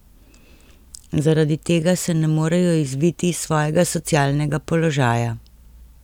Zaradi tega se ne morejo izviti iz svojega socialnega položaja.